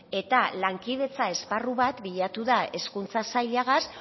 eta lankidetza esparru bat bilatu da hezkuntza sailagaz